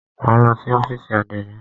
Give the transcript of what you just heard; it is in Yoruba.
Máa lọ sí ọ́fìsì àdénì.